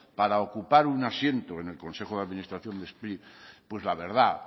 para ocupar un asiento en el consejo de administración de spri pues la verdad